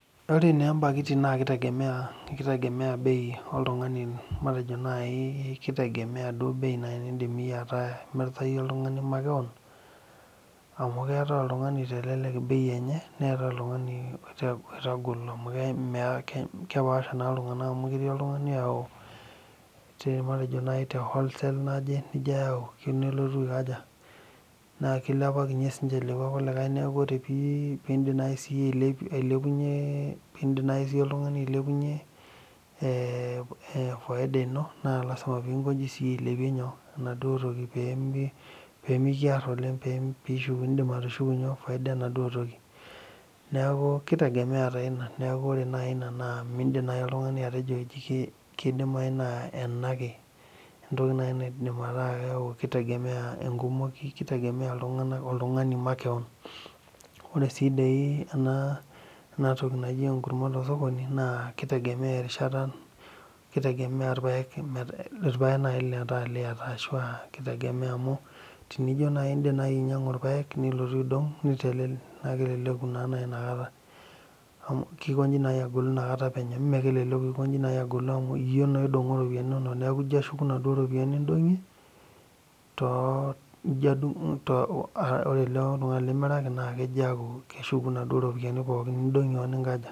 Ore naa ebankiti naa keitegemea bei oltung'ani matejo naaji keitegemea indiim iyie ataa imirta iyie makewon neetai oltung'ani lomirita enenye amu kepaasha iltung'anak amu ketii oltung'ani oyau te holesale naje nikiyau eyieu nelotu aikaja naa keilapakinyie siininche lekua kulikae neeku ore naaji peeilepunyie eeh faida ino naa lazima peinkoji siiyie ailepie nyoo enaduo toki pee mikiar oleng pee indiim atushuku faida enaduo toki neeku keitegemea taa ina miindim oltung'ani atejo ore duo enake entoki naa keidim naaji ataa keitegemea enkumoi neidim ategemea oltung'ani makewon ore sii dii ena toki naji enkurma tosokoni naa keitegemea erishata keitegemea irpaek ashua iliata amu tenijio naaji indiim ainyiang'u irpaek nilotu aidong naa keleleku inakata penyo neeku keikoji naa agolu amu iyie naa oidongo ilononok neeku ore naa oltung'ani limiraki keshuku inaduo ropiyiani nindong'ie oninkaja.